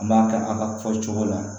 An b'a kɛ a ka fɔ cogo la